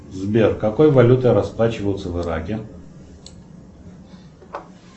сбер какой валютой расплачиваются в ираке